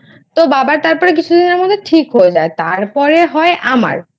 তো বাবা তারপর কিছুদিনের মধ্যে ঠিক হয়ে যায় তারপরে হয় আমার